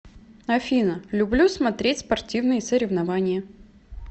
афина люблю смотреть спортивные соревнования